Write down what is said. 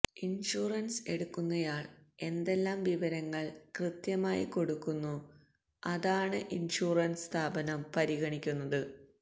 insurance എടുക്കുന്നയാൾ എന്തെല്ലാം വിവരങ്ങൾ കൃത്യമായി കൊടുക്കുന്നോ അതാണ് ഇൻഷുറൻസ് സ്ഥാപനം പരിഗണിക്കുന്നത്